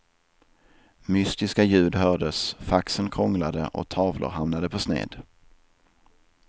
Mystiska ljud hördes, faxen krånglade och tavlor hamnade på sned.